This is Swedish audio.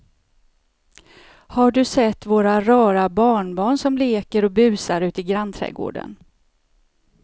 Har du sett våra rara barnbarn som leker och busar ute i grannträdgården!